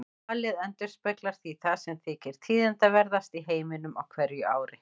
Valið endurspeglar því það sem þykir tíðindaverðast í heiminum á hverju ári.